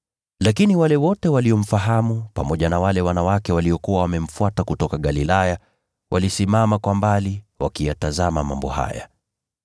Lakini wale wote waliomfahamu, pamoja na wale wanawake waliokuwa wamemfuata kutoka Galilaya, walisimama kwa mbali wakiyatazama mambo haya.